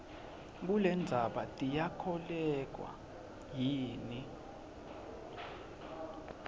kulendzaba tiyakholweka yini